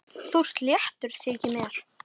Þú ert léttur, þykir mér!